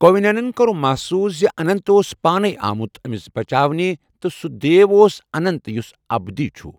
کوندِنین کوٚر محسوٗس زِ اننت اوس پانے آمُت أمِس بچاونہِ تہٕ سُہ دیو اوس اننت، یُس اَبدی چھُ۔